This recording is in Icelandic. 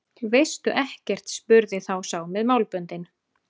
Veistu ekkert spurði þá sá með málböndin.